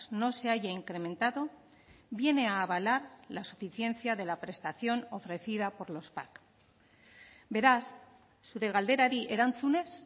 no se haya incrementado viene a avalar la suficiencia de la prestación ofrecida por los pac beraz zure galderari erantzunez